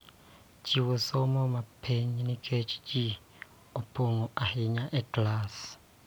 Chiw somo ma piny nikech ji opong� ahinya e klas,